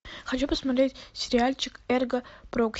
хочу посмотреть сериальчик эрго прокси